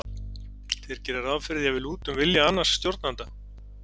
þeir gera ráð fyrir því að við lútum vilja annars stjórnanda